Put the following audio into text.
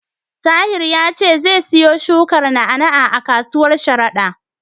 Tahir ya ce zai siyo shukar na'a-na'a a kasuwar Sharada.